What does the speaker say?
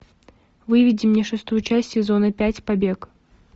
выведи мне шестую часть сезона пять побег